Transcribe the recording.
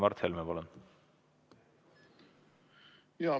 Mart Helme, palun!